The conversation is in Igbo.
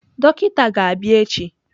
Dọkịta ga-abịa echi.